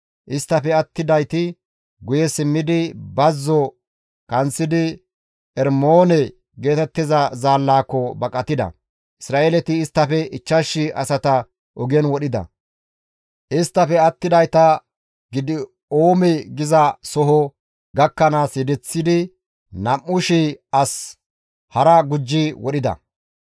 isttafe attidayti guye simmidi bazzo kanththidi Ermoone geetettiza zaallaako baqatida; Isra7eeleti isttafe 5,000 asata ogen wodhida; isttafe attidayta Gidi7oome giza soho gakkanaas yedeththidi nam7u shii as hara gujji wodhida.